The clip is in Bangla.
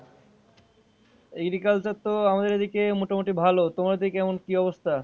Agriculture তো আমাদের এদিকে মোটামটি ভালো তোমার ওদিকে কেমন কী অবস্থা?